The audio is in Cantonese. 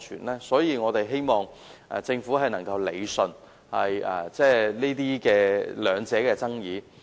為此，我們希望政府能夠理順雙方的爭議。